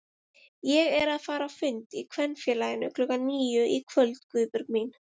Ég er að fara á fund í Kvenfélaginu klukkan níu í kvöld Guðbjörg mín